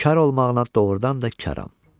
kar olmağıma doğurdan da karam.